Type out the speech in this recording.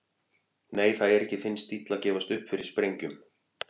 Nei, það er ekki þinn stíll að gefast upp fyrir sprengjum.